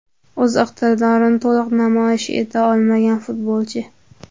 O‘z iqtidorini to‘liq namoyish eta olmagan futbolchi.